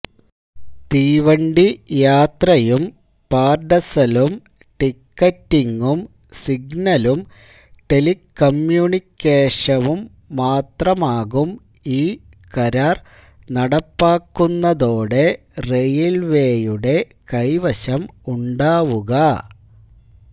തീവണ്ടി യാത്രായും പാർഡസലും ടിക്കറ്റിങ്ങും സിഗ്നലും ടെലികമ്മ്യൂണിക്കേഷമും മാത്രമാകും ഈ കരാർ നടപ്പാകുന്നതോടെ റെയിൽവേയുടെ കൈവശം ഉണ്ടാവുക